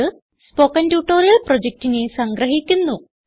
ഇതു spoken tutorial പ്രൊജക്റ്റിനെ സംഗ്രഹിക്കുന്നു